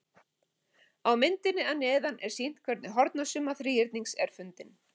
Á myndinni að neðan er sýnt hvernig hornasumma þríhyrnings er fundin.